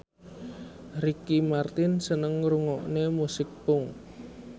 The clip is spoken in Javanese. Ricky Martin seneng ngrungokne musik punk